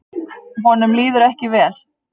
Honum líður ekki vel.